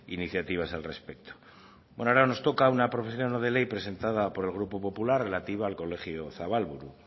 iniciativas al respecto ahora nos toca una proposición no de ley presentada por el grupo popular relativa al colegio zabalburu